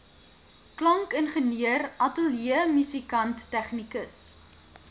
klankingenieur ateljeemusikant tegnikus